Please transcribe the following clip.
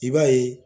I b'a ye